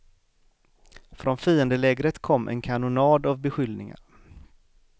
Från fiendelägret kom en kanonad av beskyllningar.